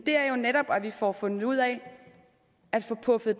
er jo netop at vi får fundet ud af at få puffet